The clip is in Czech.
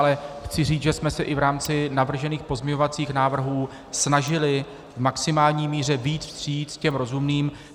Ale chci říct, že jsme se i v rámci navržených pozměňovacích návrhů snažili v maximální míře vyjít vstříc těm rozumným.